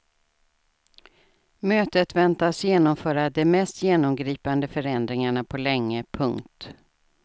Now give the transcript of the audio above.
Mötet väntas genomföra de mest genomgripande förändringarna på länge. punkt